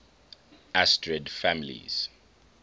asterid families